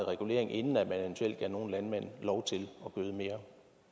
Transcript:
regulering inden man eventuelt gav nogle landmænd lov til at gøde mere